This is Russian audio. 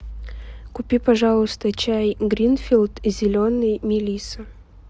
купи пожалуйста чай гринфилд зеленый мелисса